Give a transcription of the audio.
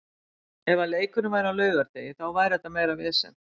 Ef að leikurinn væri á laugardegi þá væri þetta meira vesen.